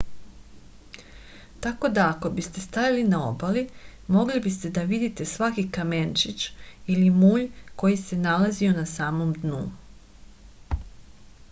tako da ako biste stajali na obali mogli biste da vidite svaki kamenčić ili mulj koji se nalazio na samom dnu